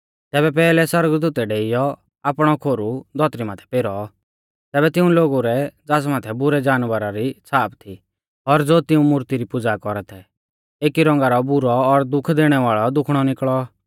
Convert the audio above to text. तैबै पैहलै सौरगदूतै डेइयौ आपणौ खोरु धौतरी माथै पेरौ तैबै तिऊं लोगु रै ज़ास माथै बुरै जानवरा री छ़ाप थी और ज़ो तिउंरी मूर्ती री पुज़ा कौरा थै एकी रौंगा रौ बुरौ और दुःख दैणै वाल़ौ दुखणौ निकल़ौ